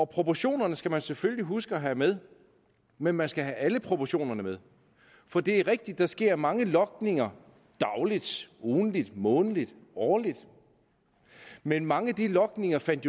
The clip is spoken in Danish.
proportionerne skal man selvfølgelig huske at have med men man skal have alle proportionerne med for det er rigtigt at der sker mange logninger dagligt ugentligt månedligt årligt men mange af de logninger fandt